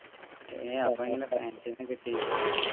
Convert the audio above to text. ഏഹ് അപ്പൊ എങ്ങനെയാ fans നെ കിട്ടിയേ